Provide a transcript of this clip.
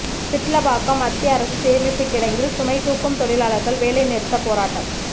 சிட்லப்பாக்கம் மத்திய அரசு சேமிப்பு கிடங்கில் சுமை தூக்கும் தொழிலாளர்கள் வேலை நிறுத்த போராட்டம்